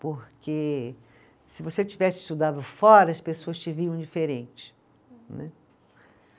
porque se você tivesse estudado fora, as pessoas te viam diferente, né